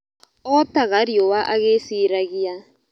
Otaga riũwa agĩĩciragia.